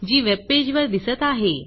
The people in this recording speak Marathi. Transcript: जी वेबपेज वर दिसत आहे